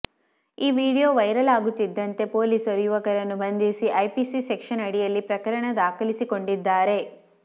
ಈ video viral ಆಗುತ್ತಿದ್ದಂತೆ ಪೊಲೀಸರು ಯುವಕರನ್ನು ಬಂಧಿಸಿ ಐಪಿಸಿ ಸೆಕ್ಷನ್ ಅಡಿಯಲ್ಲಿ ಪ್ರಕರಣ ದಾಖಲಿಸಿಕೊಂಡಿದ್ದಾರೆ